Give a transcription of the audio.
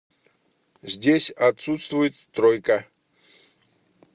здесь отсутствует тройка